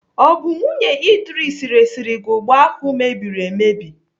Ọ bụ nwunye Idris resiri gị ụgba ahụ mebiri emebi?